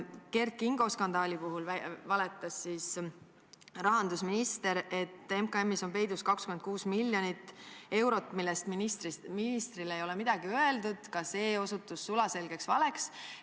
Kert Kingo skandaali puhul valetas rahandusminister, et MKM-is on peidus 26 miljonit eurot, millest ministrile ei ole midagi öeldud – ka see osutus sulaselgeks valeks.